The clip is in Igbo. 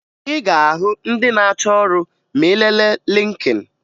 Ị ga-ahụ ndị achọ ọrụ ma ị lelee Lịnkịn